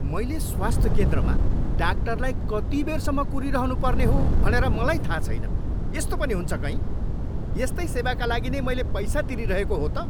मैले स्वास्थ्य केन्द्रमा डाक्टरलाई कति बेरसम्म कुरिरहनु पर्ने हो भनेर मलाई थाहा छैन, यस्तो पनि हुन्छ कहीँ? यस्तै सेवाका लागि नै मैले पैसा तिरीरहेको हो त?